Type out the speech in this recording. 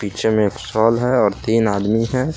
पीछे मे एक साल है और तीन आदमी है।